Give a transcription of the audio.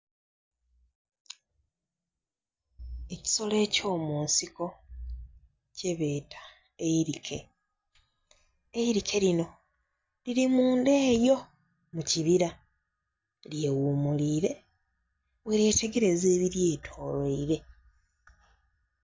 Ekisolo eky'omunsiko kyebeeta eirike, eirike lino liri munda eyo mu kibira lyeghumulire bweryetegereza ebiryetoloire.